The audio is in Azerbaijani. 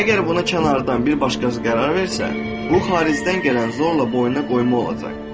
Əgər buna kənardan bir başqası qərar versə, bu xaricdən gələn zorla boynuna qoyma olacaq.